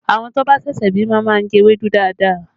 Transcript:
Àwọn tó bá ṣẹ̀ṣẹ̀ bímọ máa ń jẹ ewédú dáadáa